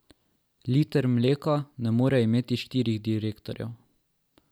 Liter mleka ne more imeti štirih direktorjev.